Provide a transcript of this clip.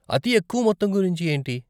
అతి ఎక్కువ మొత్తం గురించి ఏంటి?